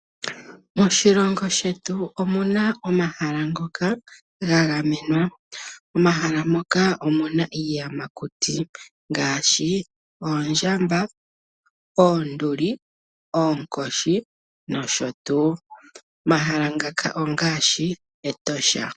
Moshilongo shetu omuna omahala ngokaga gamwenwa. Omahala moka myna iiyamakuti ngaashi oondjamba, oonduli, oonkoshi nosho tuu. Omahala ngaka ongaashi Etosha.